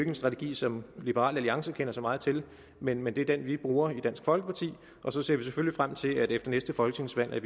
en strategi som liberal alliance kender så meget til men men det er den vi bruger i dansk folkeparti og så ser vi selvfølgelig frem til at vi efter næste folketingsvalg